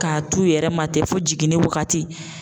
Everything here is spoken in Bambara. K'a t'u yɛrɛ ma ten fo jiginni waagati.